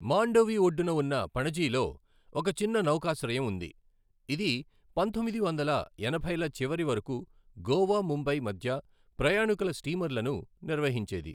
మాండోవి ఒడ్డున ఉన్న పణజీలో ఒక చిన్న నౌకాశ్రయం ఉంది, ఇది పంతొమ్మిది వందల ఎనభైల చివరి వరకు గోవా, ముంబై మధ్య ప్రయాణీకుల స్టీమర్లను నిర్వహించేది.